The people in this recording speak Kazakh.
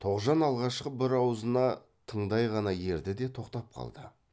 тоғжан алғашқы бір аузына тыңдай ғана ерді де тоқтап қалды